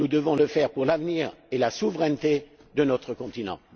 Nous devons le faire pour l'avenir et la souveraineté de notre continent.